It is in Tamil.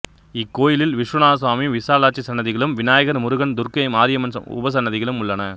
இக்கோயிலில் விசுவநாதசுவாமி விசாலாட்சி சன்னதிகளும் விநாயகர் முருகன் துர்க்கை மாரியம்மன் உபசன்னதிகளும் உள்ளன